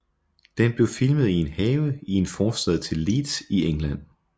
Den blev filmet i en have i en forstad til Leeds i England